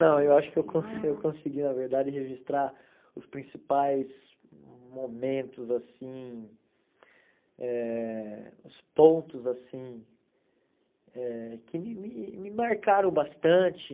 Não, eu acho que eu cons eu consegui, na verdade, registrar os principais momentos assim, eh os pontos assim eh que me me me marcaram bastante.